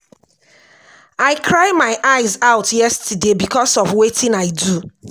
i cry my eyes out yesterday because of wetin i do